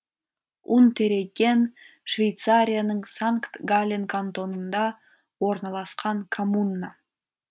унтерегген швейцарияның санкт галлен кантонында орналасқан коммуна